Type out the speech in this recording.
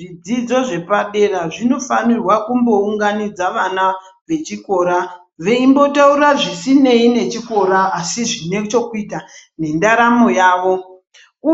Zvidzidzo zvepadera zvinofanirwa kumbounganidza vana vechikora veimbotaura zvisinei nechikora asi zvine chokuita nendaramo yavo,